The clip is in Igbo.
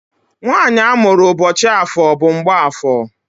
nwanyị amụrụ ụbọchị afọ bụ Mgbafọ.